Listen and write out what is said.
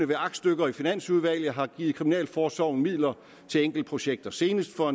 med aktstykker i finansudvalget løbende har givet kriminalforsorgen midler til enkeltprojekter senest for